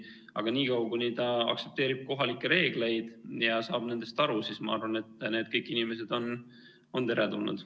Aga niikaua, kuni ta aktsepteerib kohalikke reegleid ja saab nendest aru, siis ma arvan, et need kõik inimesed on teretulnud.